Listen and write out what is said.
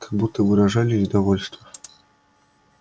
как будто выражали недовольство